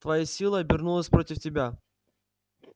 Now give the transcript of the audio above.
твоя сила обернулась против тебя